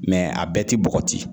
a bɛɛ ti bɔgɔti.